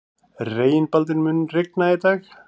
Reginbaldur, mun rigna í dag?